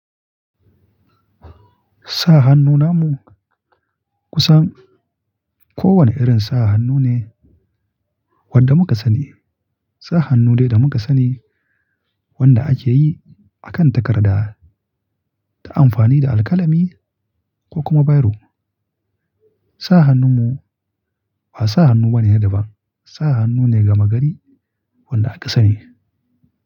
Sa hannu namu kusan kowane irin sa hannu ne wanda muka sani. Sa hannu dai da muka sani wanda ake yi akan takarda ta amfani da alƙalami ko kuma biro. Sa hannu mu ba sa hannu bane sai da ba. Sa hannu ne gama gari wanda aka sani.